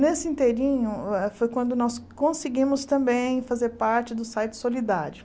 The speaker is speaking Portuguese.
Nesse inteirinho ah foi quando nós conseguimos também fazer parte do site Solidário.